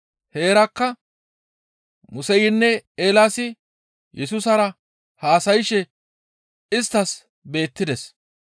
Heerakka Museynne Eelaasi Yesusara haasayshe isttas beettides.